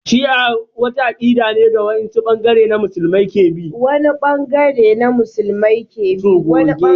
Shi'a wata akida ce da wani bangare na musulmai ke bi.